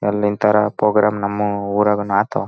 ಈ ಚಿತ್ರನು ನೋಡಬಹುದೇಂದ್ರ ಇಲ್ಲಿ ಒಂದು ಸ್ಟೇಜ್ ಕಾಣಿಸಲು ಬರುತ್ತಿದೆ.